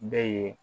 Bɛ ye